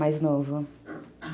Mais novo